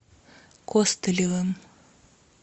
костылевым